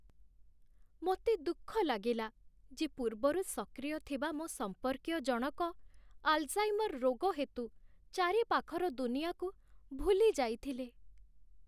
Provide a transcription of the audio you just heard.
ମୋତେ ଦୁଃଖ ଲାଗିଲା ଯେ ପୂର୍ବରୁ ସକ୍ରିୟ ଥିବା ମୋ ସମ୍ପର୍କୀୟ ଜଣକ ଆଲ୍‌ଝାଇମର୍ ରୋଗ ହେତୁ ଚାରିପାଖର ଦୁନିଆକୁ ଭୁଲି ଯାଇଥିଲେ।